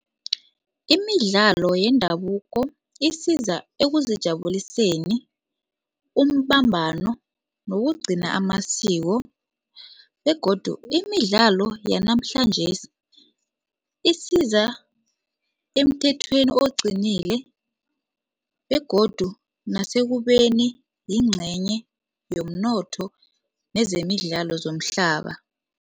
Imidlalo yendabuko isiza ekuzijabuliseni umbambano nokugcina amasiko begodu imidlalo yanamhlanjesi isiza emthethweni oqinile begodu nasekubeni yingcenye yomnotho nezemidlalo zomhlaba.